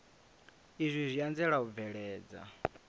izwi zwi anzela u bveledza